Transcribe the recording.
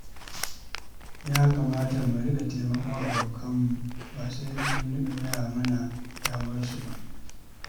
Ya kamata mu riƙa taimakon abokanmu, ba sai sun gaya mana damuwarsu ba.